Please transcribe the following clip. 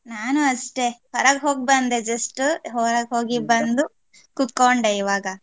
ನಾನು ಅಷ್ಟೇ ಹೊರಗ್ ಹೋಗ್ ಬಂದೆ just ಹೊರಗೆ ಹೋಗಿ ಬಂದು ಕುತ್ಕೊಂಡೆ ಇವಾಗ.